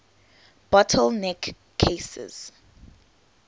bottle neck cases